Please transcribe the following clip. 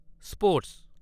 sports